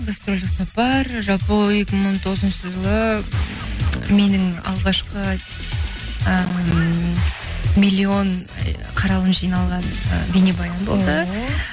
гастрольдік сапар жалпы екі мың он тоғызыншы жылы менің алғашқы ыыы миллион қаралым жиналған ы бейнебаян болды ооо